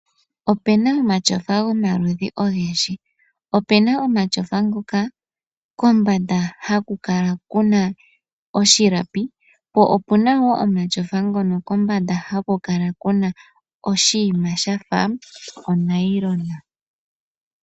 Opena omatyofa gomaludhi ogendji. Opena omatyofa ngoka kombanda haku kala kuna oshilapi, po opuna wo omatyofa ngono kombanda haku kala kuna oshinima shafa onailona.